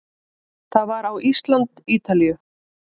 Það var á Ísland- Ítalíu